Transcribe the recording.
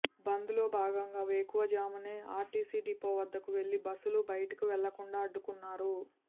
బంద్లో భాగంగా వేకువజామునే RTC depot వద్దకు వెళ్లి బస్సులు బయటకు వెళ్లకుండా అడ్డుకున్నారు